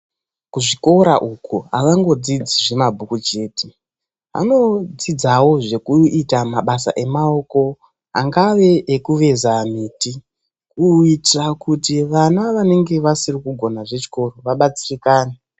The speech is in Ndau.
Kuzvikora iuko avangofundi zvemabhuku zvega. Vanofundawo zvemishando yenyara yakadai ngekutsetsa mimbiti. Kuitire kuti vana vasiri kugona zvechikoro, vabatsirikane.